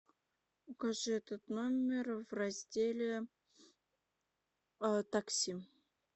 укажи этот номер в разделе такси